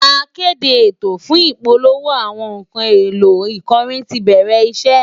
Akéde ètò fún ìpolówó àwọn nǹkan èlò ìkọrin ti bẹ̀rẹ̀ iṣẹ́